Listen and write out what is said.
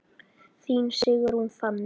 Þín Sigrún Fanney.